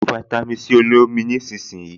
Lo fáítámì Sí olómi nísinsìnyí